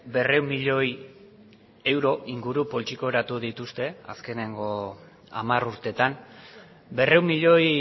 berrehun milioi euro inguru poltsikoratu dituzte azkeneko hamar urteetan berrehun milioi